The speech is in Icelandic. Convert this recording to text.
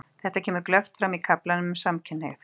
Þetta kemur glöggt fram í kaflanum um samkynhneigð.